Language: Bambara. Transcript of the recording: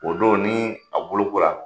O don ni a bolokora